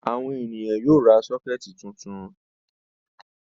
Àwọn ènìyàn yóò ra sọ́kẹ́tì tuntun.